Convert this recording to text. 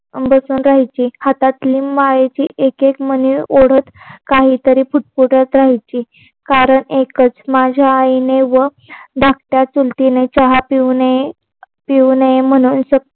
बसून राहायची हातात लिंब आणायची एक एक मणी ओढत काही तरी पुटपुटत राहायची कारण एकच माझ्या आई ने व धाकट्या चुलतीने चहा पिऊ नये पिऊ नये पिऊ नये म्हणून